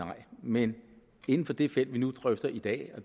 nej men inden for det felt vi nu drøfter i dag